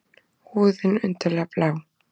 Húðin undarlega blá.